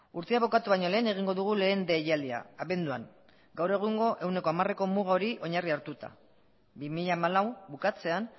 urtea bukatu baino lehen egingo dugu lehen deialdia abenduan gaur egungo ehuneko hamareko muga hori oinarri hartuta bi mila hamalau bukatzean